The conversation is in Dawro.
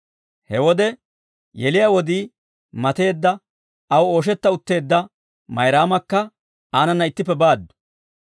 He wode yeliyaa wodii mateedda aw ooshetta utteedda Mayraamakka aanana ittippe baaddu.